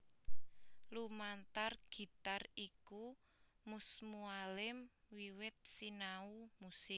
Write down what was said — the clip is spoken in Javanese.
Lumantar gitar iku Mus Mualim wiwit sinau musik